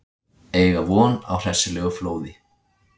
Eiga von á hressilegu flóði